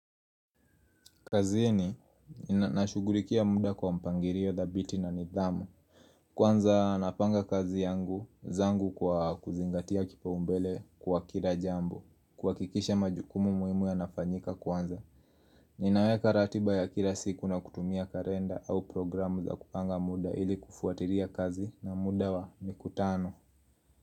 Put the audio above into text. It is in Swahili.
Kazi ni nashugulikia muda kwa mpangilio thabiti na nidhamu Kwanza napanga kazi yangu zangu kwa kuzingatia kipaumbele kwa kila jambo kuha kikisha majukumu muhimu yanafanyika kwanza Ninaweka ratiba ya kila siku na kutumia kalenda au programu za kupanga muda ili kufuatiria kazi na muda wa mikutano.